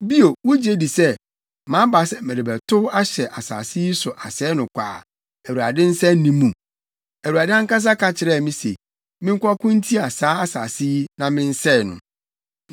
Bio, wugye di sɛ, maba sɛ merebɛtow ahyɛ asase yi so asɛe no kwa a Awurade nsa nni mu? Awurade ankasa ka kyerɛɛ me se menkɔko ntia saa asase yi na mensɛe no.’ ”